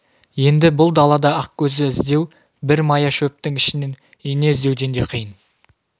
енді бұл далада ақкөзді іздеу бір мая шөптің ішінен ине іздеуден де қиын